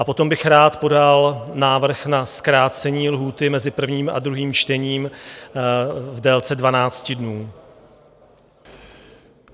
A potom bych rád podal návrh na zkrácení lhůty mezi prvním a druhým čtením v délce 12 dnů.